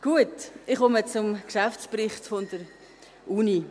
Gut, ich komme zum Geschäftsbericht der Universität.